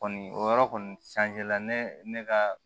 Kɔni o yɔrɔ kɔni ne ka